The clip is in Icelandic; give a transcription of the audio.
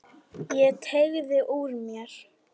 Ég teygði úr mér.